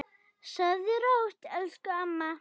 Sofðu rótt elsku amma.